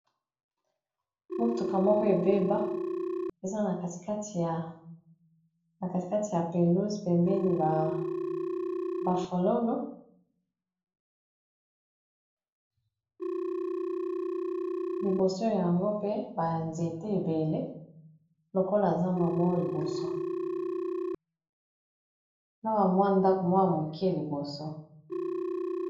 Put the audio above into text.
Motuka moko ebeba eza na katikati ya pelouze bembeni ba falolo, liboso yango pe banzete ebele lokola eza bamwa liboso na bamwa ndako mwaya moke liboso.